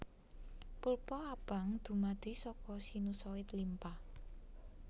Pulpa abang dumadi saka sinusoid limpa